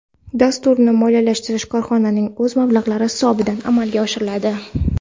Dasturni moliyalashtirish korxonaning o‘z mablag‘lari hisobidan amalga oshiriladi.